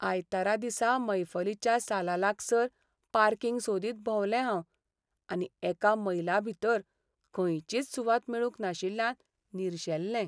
आयतारा दिसा मैफलीच्या सालालागसार पार्किंग सोदीत भोंवलें हांव आनी एका मैलाभितर खंयचीच सुवात मेळूंक नाशिल्ल्यान निरशेल्लें.